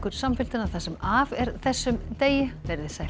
samfylgdina það sem af er þessum degi verið þið sæl